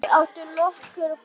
Þau áttu nokkur börn.